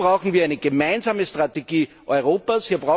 Hier brauchen wir eine gemeinsame Strategie Europas.